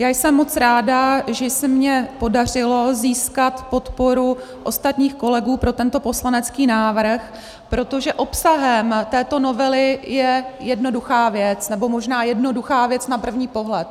Já jsem moc ráda, že se mi podařilo získat podporu ostatních kolegů pro tento poslanecký návrh, protože obsahem této novely je jednoduchá věc, nebo možná jednoduchá věc na první pohled.